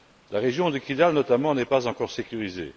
La région de Kidal, notamment, n'est pas encore sécurisée.